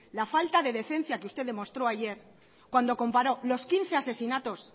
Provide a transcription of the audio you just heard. la falta de decencia que usted demostró ayer cuando comparo los quince asesinatos